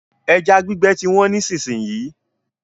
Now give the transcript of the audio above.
Ẹja gbígbẹ ti wọ́n nísìsiyìí.